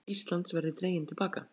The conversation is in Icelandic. Umsókn Íslands verði dregin til baka